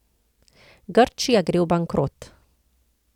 Grčija gre v bankrot.